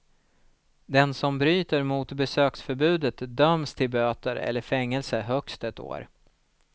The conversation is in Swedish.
Den som bryter mot besöksförbudet döms till böter eller fängelse högst ett år.